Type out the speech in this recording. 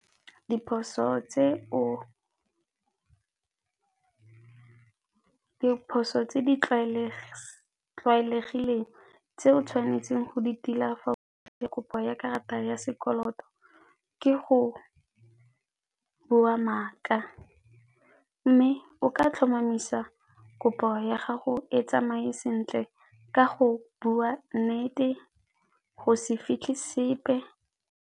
Diphoso tse di tlwaelegileng tse o tshwanetseng go di tila kopo ya karata ya sekoloto ke go bua maaka mme o ka tlhomamisa kopo ya gago e tsamaye sentle ka go bua nnete go se fitlhe sepe.